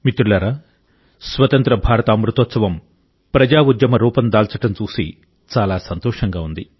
మిత్రులారా స్వతంత్ర భారత అమృతోత్సవం ప్రజాఉద్యమ రూపం దాల్చడం చూసి చాలా సంతోషంగా ఉంది